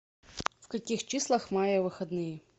в каких числах мая выходные